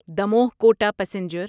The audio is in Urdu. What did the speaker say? دموہ کوٹا پیسنجر